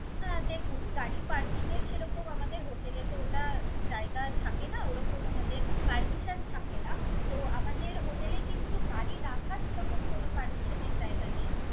অ্যাঁ দেখুন, গাড়ি parking এর সেরকম আমাদের hotel এ তো ওটা জায়গা থাকে না, ওরকম আমাদের permission থাকে না। তো আমাদের hotel এ কিন্তু গাড়ি রাখার সেরকম কোন permission এর জায়গা নেই।